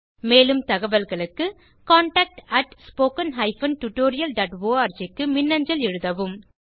மேலும் தகவல்களுக்கு contactspoken tutorialorg க்கு மின்னஞ்சல் எழுதவும்